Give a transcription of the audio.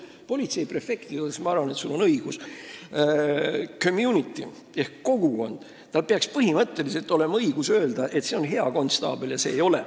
Politseiprefektide puhul, ma arvan, on sul õigus: community'l ehk kogukonnal peaks põhimõtteliselt olema õigus öelda, kes on hea konstaabel ja kes ei ole.